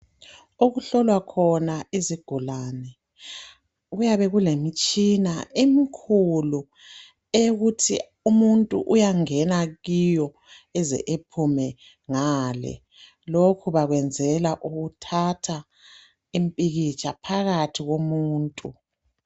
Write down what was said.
Okuhlolwa khona izigulane kuyabe kulemitshina emikhulu eyokuthi umuntu uyangena kiyo eze ephume ngale. Lokhu bakwenzela ukuthatha impikitsha phakathi komuntu.